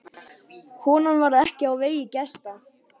Konan varð ekki á vegi gesta.